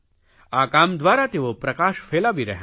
આ કામ દ્વારા તેઓ પ્રકાશ ફેલાવી રહ્યાં છે